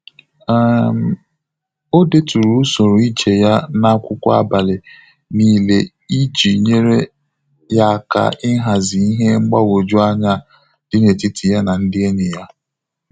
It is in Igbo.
um O deturu usoro ije ya na akwụkwọ abalị n'ile iji nyere ya aka ịhazi ihe mgbagwoju anya dị na etiti ya na ndị enyi ya